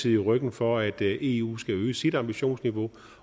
i ryggen for at eu skal øge sit ambitionsniveau